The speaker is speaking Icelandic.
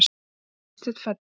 Þegar Vésteinn fæddist.